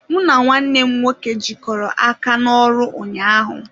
M na nwanne m nwoke jikọrọ aka n'ọrụ ụnyaahụ.